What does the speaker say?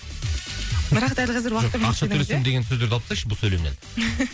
бірақ дәл қазір ақша төлесем деген сөздерді алып тастайықшы бұл сөйлемнен